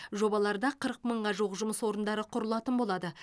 жобаларда қырық мыңға жуық жұмыс орндары құрылатын болады